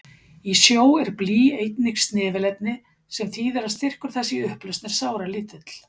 Í sjó er blý einnig snefilefni, sem þýðir að styrkur þess í upplausn er sáralítill.